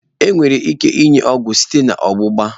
Enwere ike inye ọgwụ site na ọgbụgba.